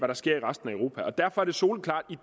der sker i resten af europa det er derfor soleklart at